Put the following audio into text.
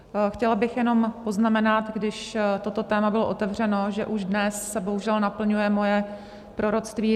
Chtěla bych jenom poznamenat, když toto téma bylo otevřeno, že už dnes se bohužel naplňuje moje proroctví.